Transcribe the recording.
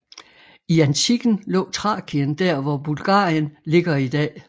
I antikken lå Thrakien der hvor Bulgarien ligger i dag